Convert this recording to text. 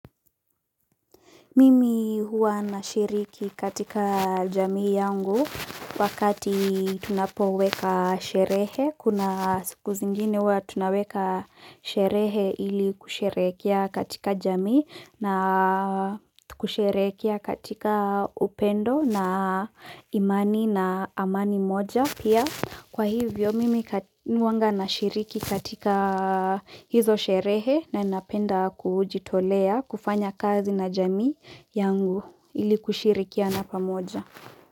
Mimi huwa na shiriki katika jamii yangu wakati tunapoweka sherehe. Kuna siku zingine huwa tunaweka sherehe ili kusherekea katika jamii na kusherekea katika upendo na imani na amani moja. Pia kwa hivyo mimi huanga na shiriki katika hizo sherehe nan inapenda kujitolea kufanya kazi na jamii yangu ili kushirikia na pamoja.